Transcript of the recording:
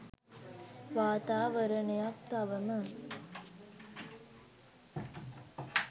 වාතාවරණයක් තවම